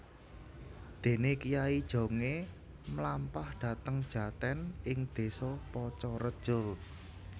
Dene Kyai Jongé mlampah dhateng jaten ing désa Pacareja